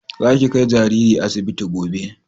Za ki kai jariri asibiti gobe!